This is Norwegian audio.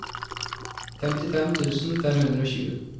femtifem tusen fem hundre og tjue